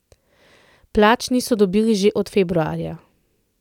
Plač niso dobili že od februarja.